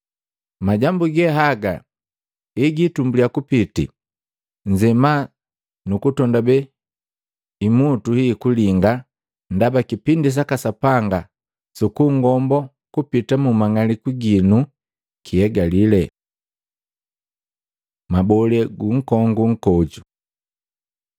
Majambu ge haga egitumbulia kupiti, nzema nukutondabee imutu hii kulinga ndaba kipindi saka Sapanga sukungombo kupita mu mang'aliku ginu kihegali.” Mabole gu nkongu nkoju Matei 24:32-35; Maluko 13:28-31